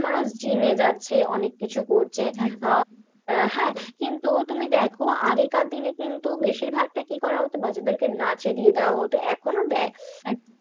মানুষ gym এ যাচ্ছে, অনেককিছু করছে, একদম আহ হ্যাঁ, কিন্তু তুমি দেখো আগেকার দিনে কিন্তু বেশীরভাগটা কি করা হতো, বাচ্চাদেরকে নাচে দিয়ে দেওয়া হতো, এখনও দেয়, একদম